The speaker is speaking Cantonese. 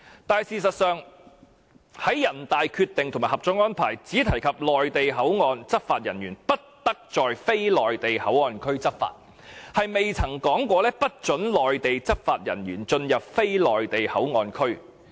然而，事實上，人大的《決定》和《合作安排》均只提及內地口岸執法人員不得在非內地口岸區執法，但沒有說過不准內地執法人員進入非內地口岸區。